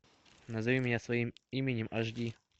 назови меня своим именем аш ди